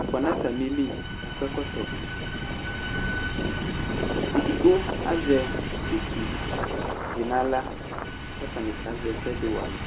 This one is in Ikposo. Ɛfʋa nʋ atamili akɔ ɛkɔtɔ Edigbo azɛ utu dɩ nʋ aɣla kʋ atanɩ kazɛ ɛsɛ dɩ wa alɛ